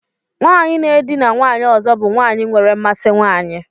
Nwanyị na-edina nwanyị ọzọ bụ nwanyị nwere mmasị nwanyị.